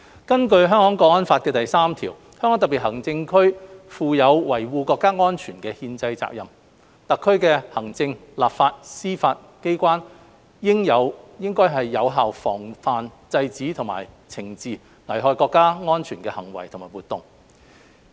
根據《香港國安法》第三條，香港特別行政區負有維護國家安全的憲制責任，特區行政、立法、司法機關應有效防範、制止和懲治危害國家安全的行為和活動。